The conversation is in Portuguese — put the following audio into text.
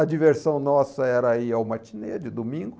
A diversão nossa era ir ao matinê de domingo.